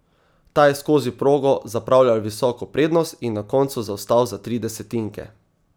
Ta je skozi progo zapravljal visoko prednost in na koncu zaostal za tri desetinke.